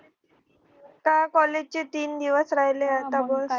आता college चे तीन दिवस राहिले आता